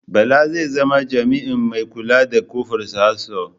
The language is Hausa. Bala zai zama jamiin mai kula kofar Sahad sito